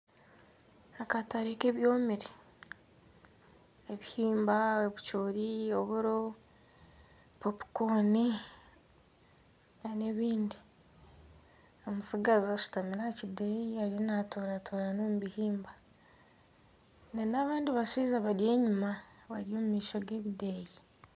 Akatare k'ebyomire, ebihimba, ebicoori, oburo, popukooni n'ebindi. Omutsigazi ashutami aha kideeya ariyo naatoratora omu bihimba. n'abandi bashaija bari enyima bari omu maisho g'ebideeya.